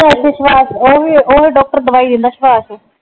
ਓ ਸੁਭਾਸ਼ ਓ ਡਾਕਟਰ ਦਵਾਈ ਦਿੰਦਾ ਸੁਭਾਸ਼